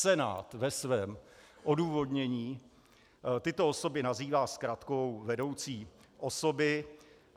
Senát ve svém odůvodnění tyto osoby nazývá zkratkou vedoucí osoby.